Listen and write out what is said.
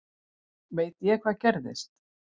Veit ég hvað gerðist?